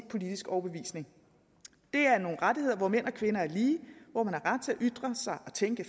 politisk overbevisning det er nogle rettigheder hvor mænd og kvinder er lige hvor man har ret til at ytre sig og tænke